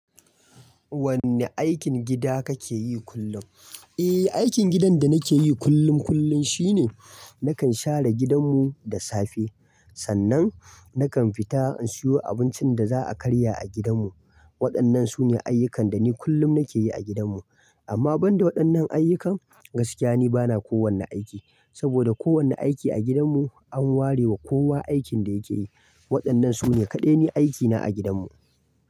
Wanne aikin gida kake yi kullum? Eh, aikin gidan da nake yi kullum kullum shine nakan share gidan mu da safe. Sannan nakan fita in siyo abincin da za a karya a gidan mu. Waɗannan su ne ayyukan da ni kullum nake yi a gidan mu. Amma banda waɗannan ayyuka gaskiya ni bana kowane aiki. Saboda ko wani aiki a gidan mu an ware wa kowa aikin da yake yi. Waɗannan su ne kaɗai ni aikina a gidan mu.